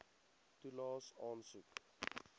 toelaes aansoek